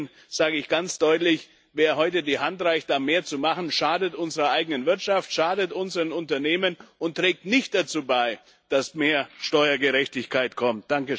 Deswegen sage ich ganz deutlich Wer heute die Hand reicht, da mehr zu machen, schadet unserer eigenen Wirtschaft, schadet unseren Unternehmen und trägt nicht dazu bei, dass mehr Steuergerechtigkeit kommt.